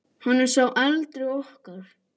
Hann er sá eldri okkar.